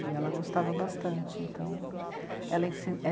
E ela gostava bastante, então... ela ensin...